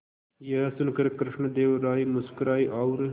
यह सुनकर कृष्णदेव राय मुस्कुराए और